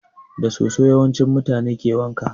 Da soso yawanci mutane ke wanka